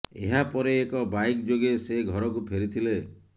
ଏହା ପରେ ଏକ ବାଇକ୍ ଯୋଗେ ସେ ଘରକୁ ଫେରିଥିଲେ